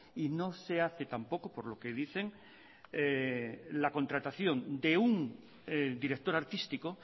y no se hace tampoco por lo que dicen la contratación de un director artístico